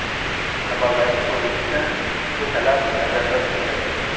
Amaldagi kodeksda ushbu talab nazarda tutilmagan.